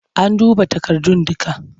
An duba takardun dukka?